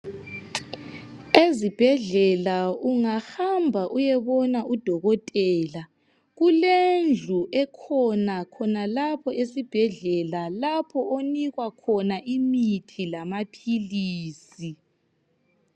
Ezibhedlela ungahamba uyebona udokotela kulendlu ekhona khonalapho esibhedlela lapho onikwa khona imithi lamaphilisi.